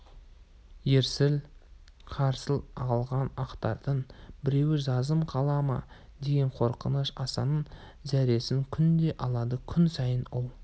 ерсіл-қарсыл ағылған ақтардың біреуі жазым қыла ма деген қорқыныш асанның зәресін күнде алады күн сайын ол